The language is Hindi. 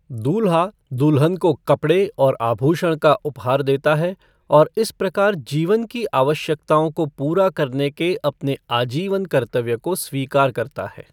दूल्हा दुल्हन को कपड़े और आभूषण का उपहार देता है और इस प्रकार जीवन की आवश्यकताओं को पूरा करने के अपने आजीवन कर्तव्य को स्वीकार करता है।